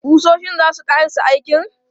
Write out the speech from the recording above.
Ƙusoshin za su ƙarasa aikin?